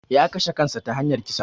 Ya kashe kansa ta hanyar kisa